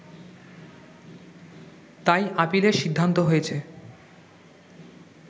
তাই আপিলের সিদ্ধান্ত হয়েছে